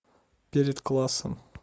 перед классом